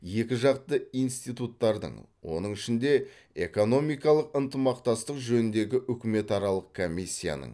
екіжақты институттардың оның ішінде экономикалық ынтымақтастық жөніндегі үкіметаралық комиссияның